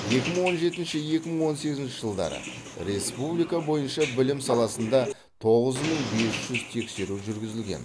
екі мың он жетінші екі мың он сегізінші жылдары республика бойынша білім саласында тоғыз мың бес жүз тексеру жүргізілген